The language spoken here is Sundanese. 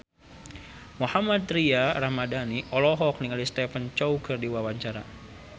Mohammad Tria Ramadhani olohok ningali Stephen Chow keur diwawancara